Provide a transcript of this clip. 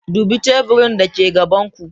Dubi teburin dake gaban ku.